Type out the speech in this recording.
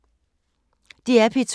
DR P2